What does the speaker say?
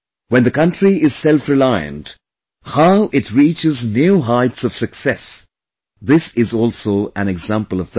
When the country is selfreliant, how, it reaches new heights of success this is also an example of this